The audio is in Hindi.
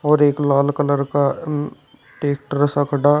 और एक लाल कलर का ट्रैक्टर सा खड़ा।